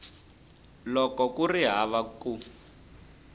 loko ku ri hava ku